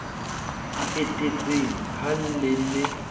di etetseng ha le ne